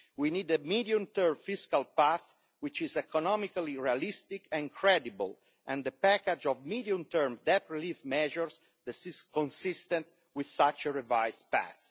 We need a medium-term fiscal path which is economically realistic and credible and a package of medium term debt relief measures that is consistent with such a revised path.